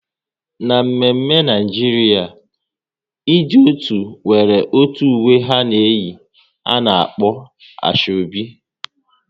N'mme mme Naijiria, ndị otu nwere otu uwe ha na eyi, a na-akpọ Asoebi